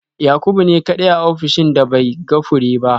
Yakubu ne kadai a ofishina da bai ga fure ba